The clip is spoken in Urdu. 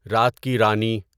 رات کی رانی